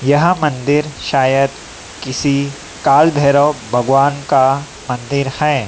यह मंदिर शायद किसी काल भैरव भगवान का मंदिर है।